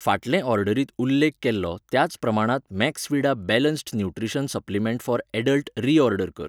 फाटले ऑर्डरींत उल्लेख केल्लो त्याच प्रमाणांत Maxvida balanced nutrition supplement for adult reorder कर.